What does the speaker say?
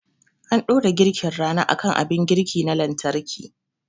An dora girkin rana akan abin girki na lantarki